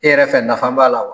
E yɛrɛ fɛ nafa b'a la